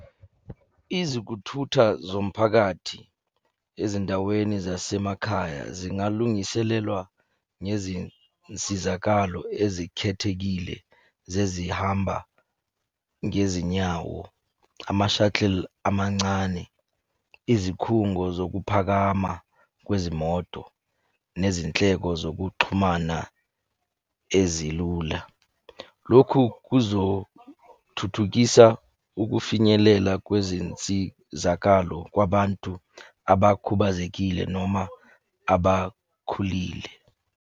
Izikuthutha zomphakathi ezindaweni zasemakhaya zingalungiselelwa ngezinsizakalo ezikhethekile zezihamba ngezinyawo, ama-shuttle amancane. Izikhungo zokuphakama kwezimoto nezinhleko zokuxhumana ezilula. Lokhu kuzothuthukisa ukufinyelela kwezinsizakalo kwabantu abakhubazekile noma abakhulile.